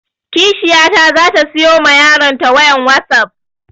Kishiyata za ta siyo ma yaron ta wayan wasap